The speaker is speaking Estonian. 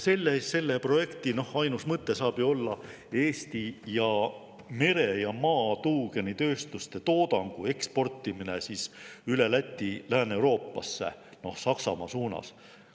Selle projekti ainus mõte saab ju olla Eesti ja mere‑ ja maatuugeni tööstuste toodangu eksportimine Läti kaudu Lääne-Euroopasse Saksamaa suunas.